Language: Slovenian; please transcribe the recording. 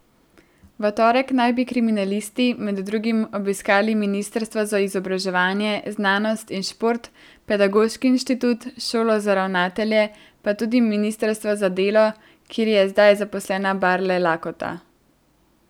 V torek naj bi kriminalisti med drugim obiskali ministrstvo za izobraževanje, znanost in šport, Pedagoški inštitut, Šolo za ravnatelje, pa tudi ministrstvo za delo, kjer je zdaj zaposlena Barle Lakota.